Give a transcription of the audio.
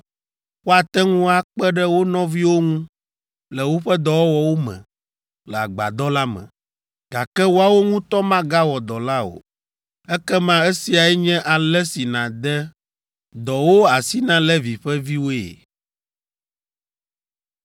Woate ŋu akpe ɖe wo nɔviwo ŋu le woƒe dɔwɔwɔwo me le agbadɔ la me, gake woawo ŋutɔ magawɔ dɔ la o. Ekema esiae nye ale si nàde dɔwo asi na Levi ƒe viwoe.”